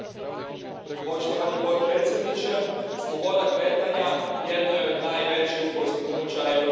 Poštovani predsjedavajući, sloboda kretanja jedno je od najvećih postignuća Europske unije.